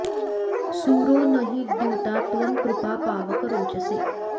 सूरो॒ न हि द्यु॒ता त्वं कृ॒पा पा॑वक॒ रोच॑से